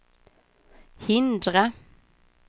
hindra